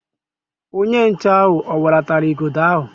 Onye nche ahụ o welatara Igodo ahụ?